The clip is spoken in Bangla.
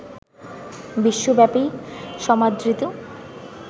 বিশ্বব্যাপী সমাদৃত